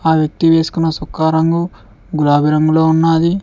ఆ వ్యక్తి వేసుకున్న చొక్కా రంగు గులాబీ రంగులో ఉన్నది.